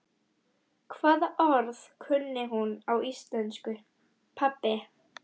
Hvaða orð kunni hún á íslensku, pabbi?